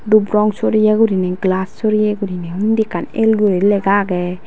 dup rong soreye gurinei glass soreye gurinei undi ekkan el guri lega agey.